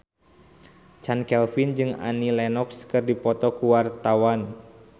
Chand Kelvin jeung Annie Lenox keur dipoto ku wartawan